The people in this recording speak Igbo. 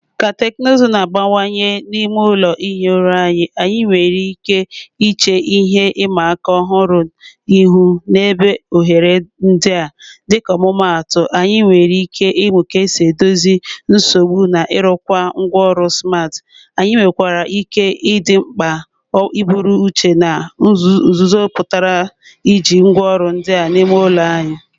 Ka teknụzụ na-abanyekwu n'ime ụlọ ihi ụra anyị, anyị nwere ike iche ihe ịma aka ọhụrụ ihu n'idebe oghere ndị a. Dịka ọmụmaatụ, anyị nwere ike ịmụ ka esi edozi nsogbu na ịrụkwa ngwaọrụ smart. Anyị nwekwara ike ịdị mkpa iburu n'uche ihe nzuzo pụtara iji ngwaọrụ ndị a n'ime ụlọ anyị.